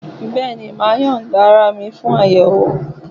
Bẹ́ẹ̀ni, màá yọ̀ǹda ara mi sílẹ̀ fún àyẹ̀wò